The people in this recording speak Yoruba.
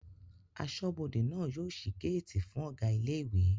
Aṣọ́bọdè náà yóò ṣí géètì fún Ọ̀gá ilé ìwé